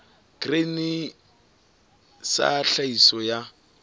grain sa ya tlhahiso ya